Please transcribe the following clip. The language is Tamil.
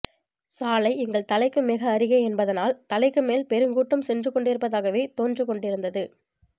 சாலை எங்கள் தலைக்கு மிக அருகே என்பதனால் தலைக்குமேல் பெருங்கூட்டம் சென்றுகொண்டிருப்பதாகவே தோன்றிக்கொண்டிருந்தது